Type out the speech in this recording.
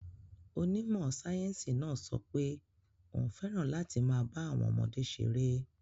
Onímọ̀ sáyẹ́sì náà sọ pé òun fẹ́ràn láti máa bá àwọn ọmọdé ṣeré.